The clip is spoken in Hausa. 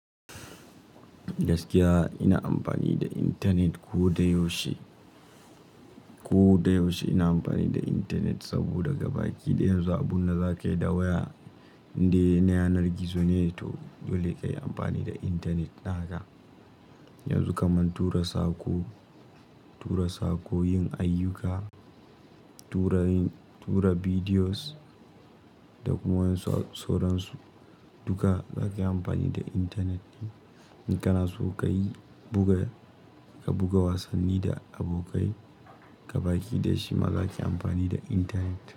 Gaskiya ina amfani da intanet ko da yaushe, ko da yaushe ina amfani da intanet saboda baki daya za a bunna za ka yi da waya inda yana yanar gizo ne to dole kayi amfani da intanet naka. Yanzu kaman tura saƙo, tura saƙo, yin ayyuka, tura yin-- tura bidiyos da kuma wasu soran su duka za ka yi amfani da intanet ne. In kana so ka yi buga, ka buga wasanni da abokai gabaki ɗaya shi ma za ka yi amfani da intanet.